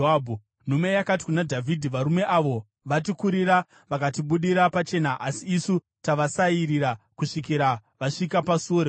Nhume yakati kuna Dhavhidhi, “Varume avo vatikurira vakatibudira pachena, asi isu tavasairira kusvikira vasvika pasuo reguta.